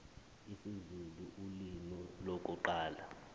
isizulu ulimi lokuqala